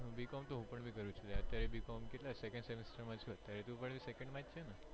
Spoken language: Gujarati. b. com તો હું બી કર્યું છે કેટલા second semester માં છુ તું પણ second માંજ છેને